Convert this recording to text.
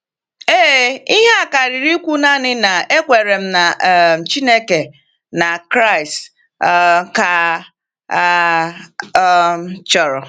Ee, ihe karịrị ikwu naanị na, ‘Ekwere m na um Chineke na Kraịst’ um ka a um chọrọ.